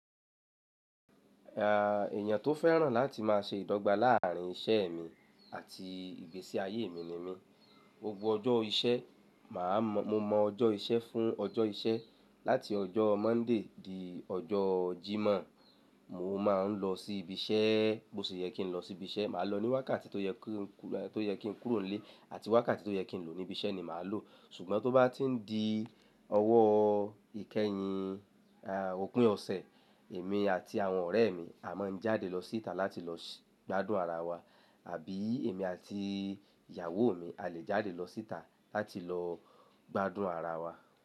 Èèyàn tó fẹ́ràn láti máa ṣe ìdọ́gba láàrin iṣẹ́ mi àti ìgbésí ayé mi ni mí. Gbogbo ọjọ́ iṣẹ́, mo mọ ọjọ́ iṣẹ́ fún ọjọ́ iṣẹ́. Láti ọjọ́ Monday di ọjọ́ Jimọ, mo máa ń lọ sí ibi iṣẹ́, bó ṣe yẹ kí n lọ sí ibi iṣẹ́. Màá lọ ní wákàtí tó yẹ kí n kúrò nílé àti wákàtí tó yẹ kí n lò ní ibi iṣẹ́ ni màá lò. Ṣùgbọ́n tó bá ti ń di ọwọ́ ìkẹyìn opin ọ̀sẹ̀, èmi àti àwọn ọ̀rẹ́ mi a máa ń jáde lọ síta láti lọ gbádùn ara wa àbí èmi àti ìyàwó mi a lè jáde lọ síta láti lọ gbádùn ara wa.